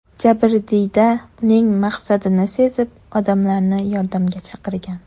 Jabrdiyda uning maqsadini sezib, odamlarni yordamga chaqirgan.